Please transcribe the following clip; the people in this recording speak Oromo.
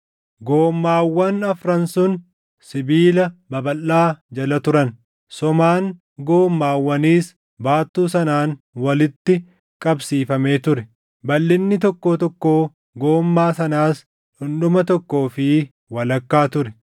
Goommaawwan afran sun sibiila babalʼaa jala turan; somaan goommaawwaniis baattuu sanaan walitti qabsiifamee ture. Balʼinni tokkoo tokkoo goommaa sanaas dhundhuma tokkoo fi walakkaa ture.